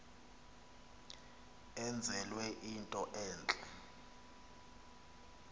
enzelwe into entle